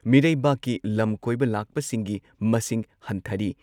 ꯃꯤꯔꯩꯕꯥꯛꯀꯤ ꯂꯝ ꯀꯣꯏꯕ ꯂꯥꯛꯄꯁꯤꯡꯒꯤ ꯃꯁꯤꯡ ꯍꯟꯊꯔꯤ ꯫